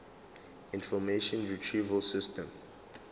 information retrieval system